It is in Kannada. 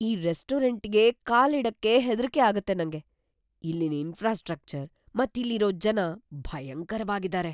ಈ ರೆಸ್ಟೋರೆಂಟ್‌ಗೆ ಕಾಲಿಡಕ್ಕೇ ಹೆದ್ರಿಕೆ ಆಗತ್ತೆ ನಂಗೆ. ಇಲ್ಲಿನ್ ಇನ್ಫ್ರಾಸ್ಟ್ರಕ್ಚರ್ ಮತ್ತೆ ಇಲ್ಲಿರೋ ಜನ ಭಯಂಕರ್ವಾಗಿದಾರೆ.